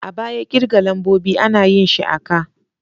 A baya kirga lambobi ana yin shi a ka.